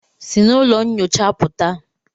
Si n'ụlọ nyocha pụta!